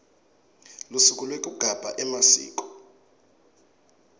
lusuku lwekugabha emasiko